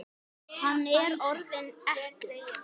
Hann er orðinn ekkill.